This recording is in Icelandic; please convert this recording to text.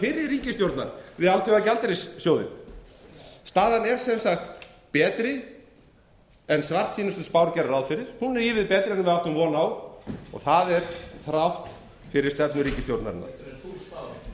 fyrri ríkisstjórnar við alþjóðagjaldeyrissjóðinn staðan er sem sagt betri en svartsýnustu spár gerðu ráð fyrir hún er ívið betri en við áttum von á og það er þrátt fyrir stefnu ríkisstjórnarinnar heldur en þú spáðir